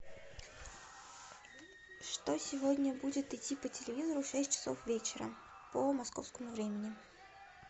что сегодня будет идти по телевизору в шесть часов вечера по московскому времени